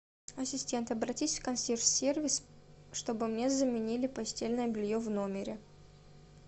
ассистент обратись в консьерж сервис чтобы мне заменили постельное белье в номере